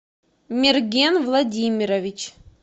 мерген владимирович